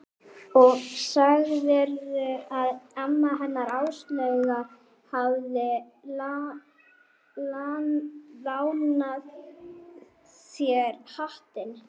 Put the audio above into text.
Og sagðirðu að amma hennar Áslaugar hafi lánað þér hattinn?